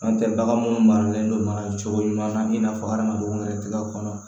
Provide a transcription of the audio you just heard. N'o tɛ bagan munnu maralen don mana cogo ɲuman na i n'a fɔ hadamadenw yɛrɛ tɛ kɔnɔ